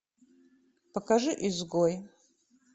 покажи изгой